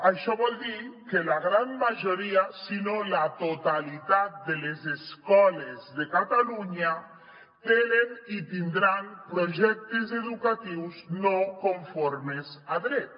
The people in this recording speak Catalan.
això vol dir que la gran majoria si no la totalitat de les escoles de catalunya tenen i tindran projectes educatius no conformes a dret